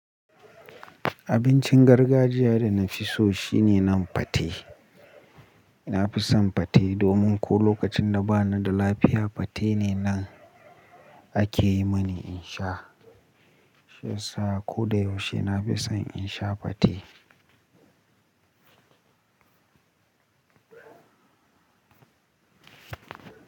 Abincin gargajiya da na fi so shine nan fate. Na fi son fate domin ko lokacin da ba ni da lafiya fate ne nan a ke yi mani in sha. Shiyasa ko da yaushe na fi son in sha fate.